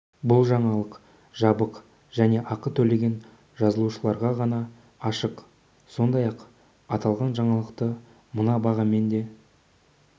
бұл жаңалық жабық және ақы төлеген жазылушыларға ғана ашық сіз сондай-ақ аталған жаңалықты мына бағамен де